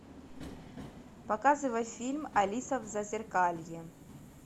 показывай фильм алиса в зазеркалье